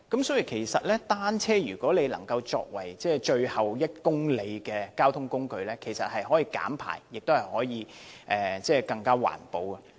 所以，把單車作為最後1公里的交通工具，其實可以減排，亦更環保。